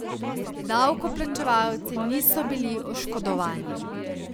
Davkoplačevalci niso bili oškodovani.